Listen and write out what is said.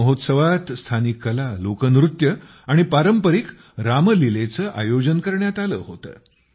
या महोत्सवात स्थानिक कला लोकनृत्य आणि पारंपरिक रामलीलेचे आयोजन करण्यात आले होते